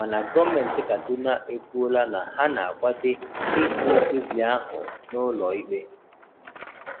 Mana Gọ́mentị Kaduna ekwuola na ha na-akwade ịjụ mkpebi ahụ n'ụlọ ikpe.